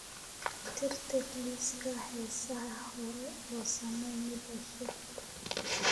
Tirtir liiska heesaha hore oo samee mid cusub